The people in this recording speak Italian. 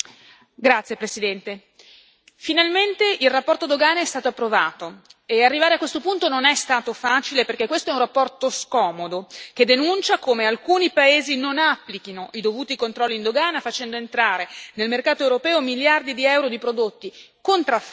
Finalmente la relazione dogane è stato approvato e arrivare a questo punto non è stato facile, perché questa è una relazione scomoda, che denuncia come alcuni Paesi non applichino i dovuti controlli in dogana facendo entrare nel mercato europeo miliardi di EUR di prodotti contraffatti o addirittura pericolosi.